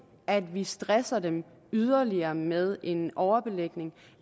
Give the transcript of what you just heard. at vi stresser dem yderligere med en overbelægning og